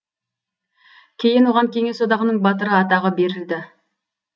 кейін оған кеңес одағаның батыры атағы берілді